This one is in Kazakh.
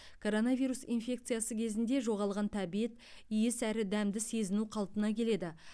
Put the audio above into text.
коронавирус инфекциясы кезінде жоғалған тәбет иіс әрі дәмді сезіну қалпына келеді